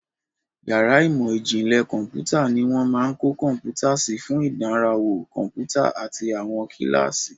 Yàrá ìmọ̀ ìjìnlẹ̀ kọ̀ḿpútà ni wọ́n máa ń kó kọ̀ḿpútà sí fún ìdánrawò kọ̀ḿpútà àti àwọn kíláàsì.